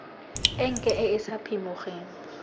enke e e sa phimogeng